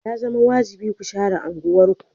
Ya zama wajibi ku share unguwarku.